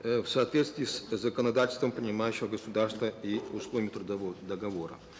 э в соответстсвии с законодательством принимающего государства и условиями трудового договора